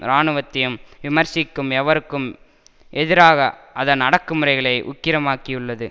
இராணுவத்தையும் விமர்சிக்கும் எவருக்கும் எதிராக அதன் அடக்குமுறைகளை உக்கிரமாக்கியுள்ளது